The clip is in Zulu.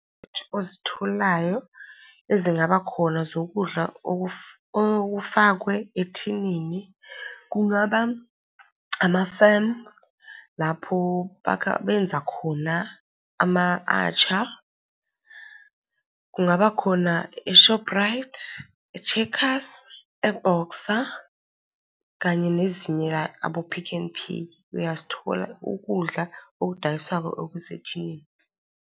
Ozitholayo ezingaba khona zokudla okufakwe ethinini, kungaba ama-firms, lapho bakha, benza khona ama-atchar, kungabakhona e-Shoprite, e-Checkers, e-Boxer, kanye nezinye abo-Pick n Pay, uyazithola ukudla okudayiswayo okusethinini.